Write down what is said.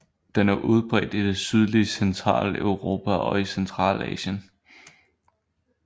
Den er udbredt i det sydlige Centraleuropa og i Centralasien